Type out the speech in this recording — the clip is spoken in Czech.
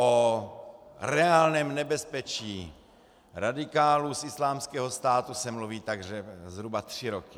O reálném nebezpečí radikálů z Islámského státu se mluví tak zhruba tři roky.